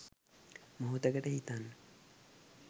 මොහොතකට හිතන්න